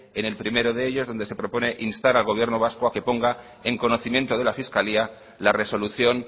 en el primero de ellos donde se propone instar al gobierno vasco a que ponga en conocimiento de la fiscalía la resolución